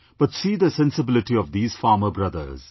But see the sensibility of these farmer brothers